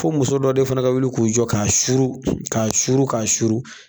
Fo muso dɔ de fana ka wili k'u jɔ k'a suuru ka suuru k'a suuru.